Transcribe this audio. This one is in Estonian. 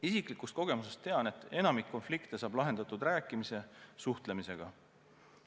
Isiklikust kogemusest tean, et enamik konflikte saab lahendatud rääkimise, suhtlemisega.